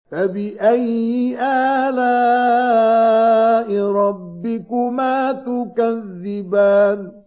فَبِأَيِّ آلَاءِ رَبِّكُمَا تُكَذِّبَانِ